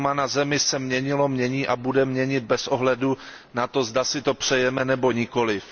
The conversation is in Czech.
Klima na Zemi se měnilo, mění a bude měnit bez ohledu na to, zda si to přejeme nebo nikoliv.